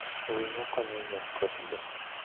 Winyo konyo yien kod le.